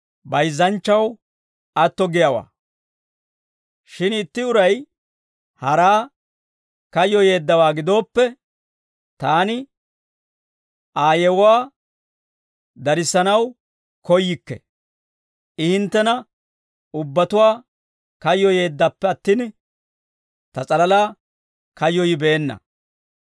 Shin itti uray haraa kayyoyeeddawaa gidooppe, taani Aa yewuwaa darissanaw koyyikke; I hinttena ubbatuwaa kayyoyeeddappe attin, ta s'alalaa kayyoyibeenna.